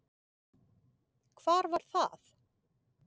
Hvar var það?